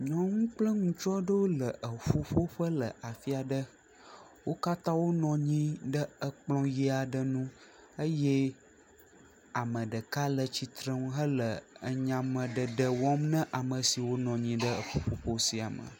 Nyɔnu kple ŋutsu aɖewo le eƒuƒoƒe aɖe le afi aɖe, wo katã wonɔ anyi ɖe ekplɔ ʋi aɖe ŋu eye ame ɖeka le tsitre ŋu hele enyame ɖeɖe wɔm na ame siwo le eƒuƒoƒo sia me.